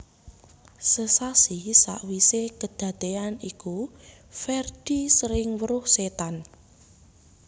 Sesasi sawisé kadadean iku Ferdi sering weruh setan